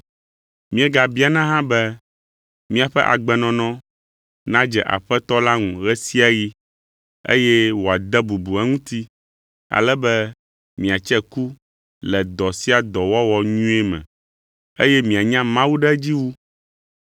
Míegabiana hã be miaƒe agbenɔnɔ nadze Aƒetɔ la ŋu ɣe sia ɣi eye woade bubu eŋuti, ale be miatse ku le dɔ sia dɔ wɔwɔ nyuie me; eye mianya Mawu ɖe edzi wu.